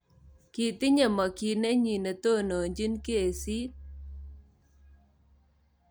Kitinye makyiinenyi netononchiin kesiit